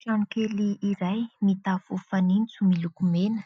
Trano kely iray mitafo miloko mena.